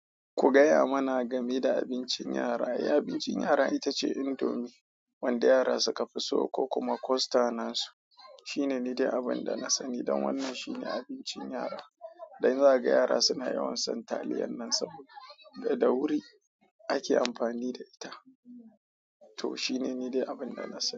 Ku gaya mana game da abincin yara. E, abincin yara ita ce indomie wanda yara suka fi so ko kuma Costa na su. Shine ni dai abin da na sani don wannan shine abincin yara. Don zaga yara suna yawan son taliyan nan saboda da wuri ake amfani da ita. To shine ni dai abin da na sani.